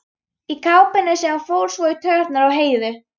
Í kápunni sem fór svo í taugarnar á Heiðu.